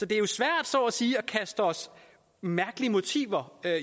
det jo svært så at sige at kaste os mærkelige motiver